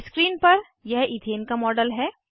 screen पर यह ethane का मॉडल है